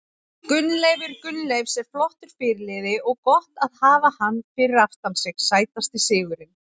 Gunnleifur Gunnleifs er flottur fyrirliði og gott að hafa hann fyrir aftan sig Sætasti sigurinn?